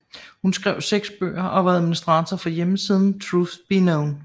Hun skrev seks bøger og var administrator for hjemmesiden Truth be Known